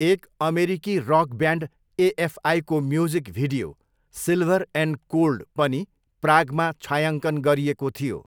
एक अमेरिकी rock band एएफआईको music video 'silver and cold' पनि प्रागमा छायाङ्कन गरिएको थियो।